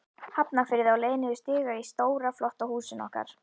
Hafnarfirði, á leið niður stiga í stóra, flotta húsinu okkar.